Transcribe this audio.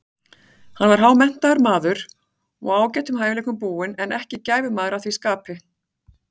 Hann var hámenntaður maður og ágætum hæfileikum búinn, en ekki gæfumaður að því skapi.